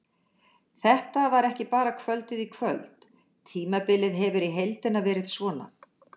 Þetta var ekki bara kvöldið í kvöld, tímabilið hefur í heildina verið svona.